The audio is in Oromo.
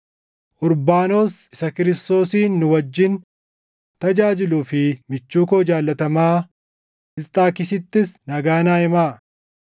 Urbaanos isa Kiristoosin nu wajjin tajaajiluu fi michuu koo jaallatamaa Isxaakisittis nagaa naa himaa.